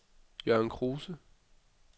Jørgen Kruse